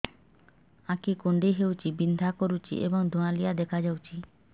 ଆଖି କୁଂଡେଇ ହେଉଛି ବିଂଧା କରୁଛି ଏବଂ ଧୁଁଆଳିଆ ଦେଖାଯାଉଛି